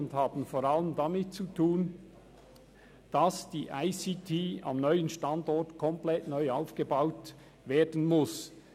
Die Höhe der Kosten ist vor allem darauf zurückzuführen, dass die ICT am neuen Standort komplett neu aufgebaut werden muss.